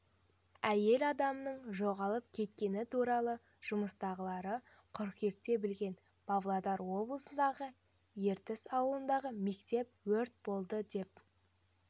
әйел адамның жоғалып кеткені туралы жұмыстағылары қыркүйекте білген павлодар облысындағы ертіс ауылындағы мектепте өрт болды деп